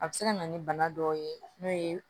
A bɛ se ka na ni bana dɔw ye n'o ye